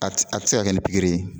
A tɛ a tɛ se ka kɛ nin pikiri ye.